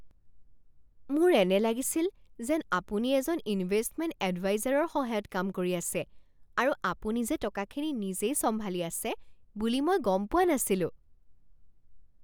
মোৰ এনে লাগিছিল যেন আপুনি এজন ইনভেষ্টমেণ্ট এডভাইজাৰৰ সহায়ত কাম কৰি আছে আৰু আপুনি যে টকাখিনি নিজেই চম্ভালি আছে বুলি মই গম পোৱা নাছিলোঁ।